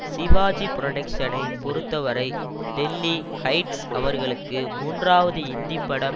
சிவாஜி புரொடக்ஷ்னை பொறுத்தவரை டெல்லி ஹைட்ஸ் அவர்களுக்கு மூன்றாவது இந்திப்படம்